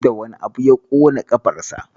Da wane abu ya ƙona ƙafarsa?